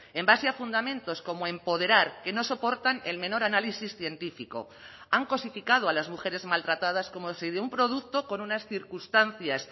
en base a fundamentos como empoderar que no soportan el menor análisis científico han cosificado a las mujeres maltratadas como si de un producto con unas circunstancias